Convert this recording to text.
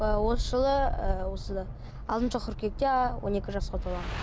ы осы жылы ы осы алтыншы қыркүйекте он екі жасқа толамын